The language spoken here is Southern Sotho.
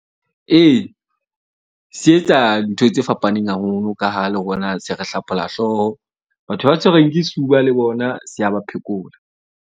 Ee, se etsa ntho tse fapaneng haholo ka ha le rona se re hlapholla hlooho. Batho ba tshwerweng ke sefuba le bona se a ba phekola.